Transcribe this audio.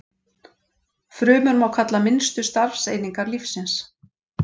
Frumur má kalla minnstu starfseiningar lífsins.